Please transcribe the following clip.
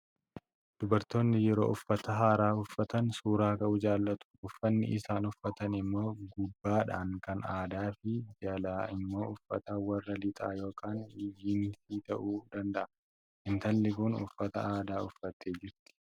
Dubartoonni yeroo uffata haaraa uffatan suuraa ka'uu jaalatu. Uffanni isaan uffatan immoo gubbaadhaan kan aadaa fi jalaan immoo uffata warra lixaa yookaan jiinsii ta'uu danda'a. Intalli kun uffata aadaa uffattee jirti.